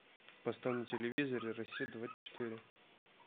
поставь на телевизоре россия двадцать четыре